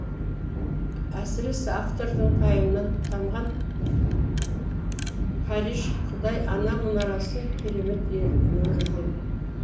әсіресе автордың пайымынан тамған париж құдай ана мұнарасы керемет өрілген